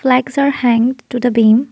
lights are hanged to the beam.